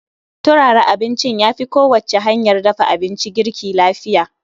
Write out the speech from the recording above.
turara abincin yafi kowacce hanyar dafa abinci girki lafiya